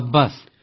ସାବାସ୍